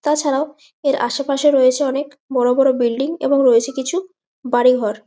তা ছাড়াও এর আসে পাশে রয়েছে অনেক বড় বড় বিল্ডিং এবং রয়েছে কিছু বাড়ি ঘর--